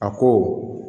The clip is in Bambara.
A ko